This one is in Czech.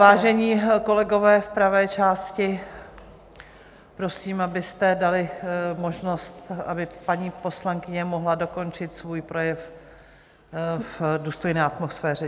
Vážení kolegové v pravé části, prosím, abyste dali možnost, aby paní poslankyně mohla dokončit svůj projev v důstojné atmosféře.